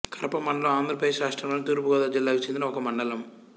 కరప మండలం ఆంధ్ర ప్రదేశ్ రాష్ట్రములోని తూర్పు గోదావరి జిల్లాకు చెందిన ఒక మండలం